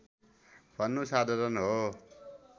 भन्नु साधारण हो